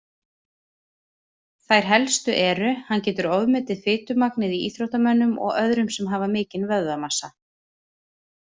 Þær helstu eru: Hann getur ofmetið fitumagnið í íþróttamönnum og öðrum sem hafa mikinn vöðvamassa.